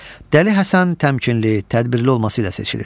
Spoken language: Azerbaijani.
Dəli Həsən təmkinli, tədbirli olması ilə seçilir.